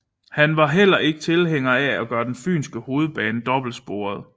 Han var heller ikke tilhænger af at gøre den fynske hovedbane dobbeltsporet